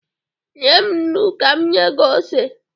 Nye m nnu ka m nye gị ose